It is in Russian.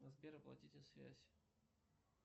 сбер оплатите связь